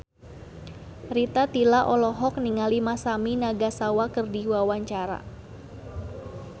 Rita Tila olohok ningali Masami Nagasawa keur diwawancara